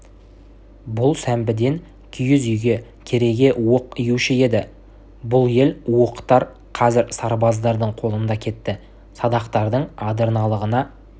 бұл сәмбіден киіз үйге кереге-уық июші еді бұл ел уықтар қазір сарбаздардың қолында кетті садақтардың адырналығына